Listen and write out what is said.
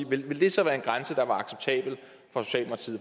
år ville det så være en grænse der var acceptabel